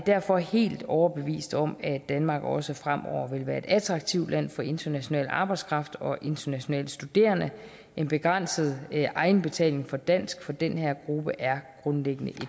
derfor helt overbevist om at danmark også fremover vil være et attraktivt land for international arbejdskraft og internationale studerende en begrænset egenbetaling for dansk for den her gruppe er grundlæggende et